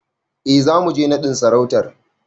E, zamu je naɗin sarautar.